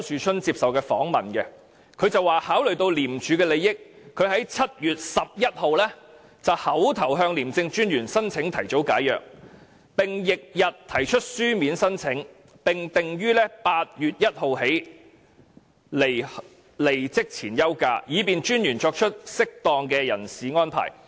他在訪問中表示，經考慮廉署的利益，他在7月11日口頭向廉政專員申請提早解約，並於翌日提出書面申請，訂於8月1日開始離職前休假，以便廉政專員作出適當的人事安排。